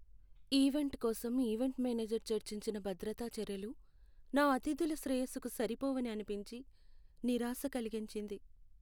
Event కోసం event manager చర్చించిన భద్రతా చర్యలు నా అతిథుల శ్రేయస్సుకు సరిపోవని అనిపించి, నిరాశ కలిగించింది.